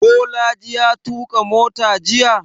Bolaji ya tuƙa mota jiya?